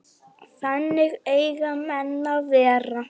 Þannig eiga menn að vera.